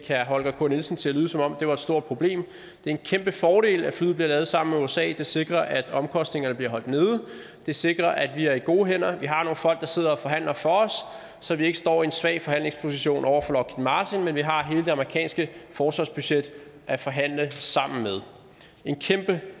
herre holger k nielsen til at lyde som om det var et stort problem det er en kæmpe fordel at flyet bliver lavet sammen med usa det sikrer at omkostningerne bliver holdt nede det sikrer at vi er i gode hænder vi har nogle folk der sidder og forhandler for os så vi ikke står i en svag forhandlingsposition over for lockheed martin men vi har hele det amerikanske forsvarsbudget at forhandle sammen med det